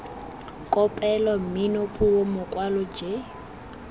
kopelo mmino puo mokwalo j